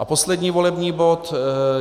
A poslední volební bod.